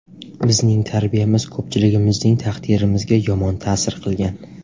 Bizning tarbiyamiz ko‘pchiligimizning taqdirimizga yomon ta’sir qilgan.